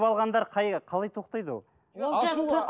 ол жерде ашуға мініп алғандар қалай тоқтайды ол